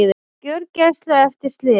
Á gjörgæslu eftir slys